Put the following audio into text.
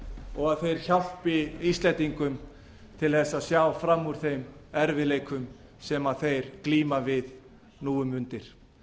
og að þeir hjálpi íslendingum til þess að sjá fram úr þeim erfiðleikum sem þeir glíma við nú um mundir